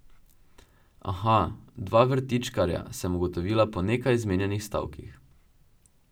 Aha, dva vrtičkarja, sem ugotovila po nekaj izmenjanih stavkih.